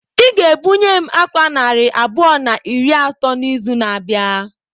Ị ga-ebunye m àkwá narị abụọ na iri atọ n'izu na-abịa!